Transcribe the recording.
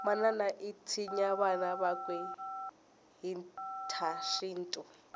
manana itsinya vana vakwe hhitashintu